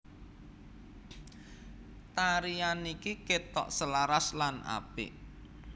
Tarian niki ketok selaras lan apik